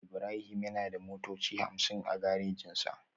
Ibrahim yana da motoci hamsin a garejinsa